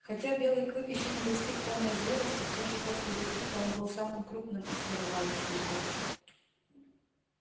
хотя белый клык ещё не достиг полной зрелости всё же после лип липа он был самым крупным из годовалых щенков